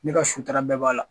Ne ka sutura bɛɛ b'a la